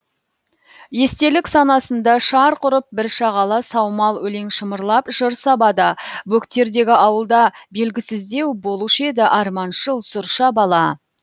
естелік санасында шарқ ұрып бір шағала саумал өлең шымырлап жыр сабада бөктердегі ауылда белгісіздеу болушы еді арманшыл сұрша бала